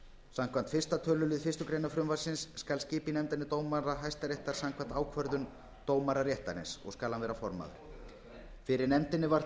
samkvæmt fyrsta tölulið fyrstu grein frumvarpsins skal skipa í nefndina dómara hæstaréttar samkvæmt ákvörðun dómara réttarins og skal hann vera formaður fyrir nefndinni var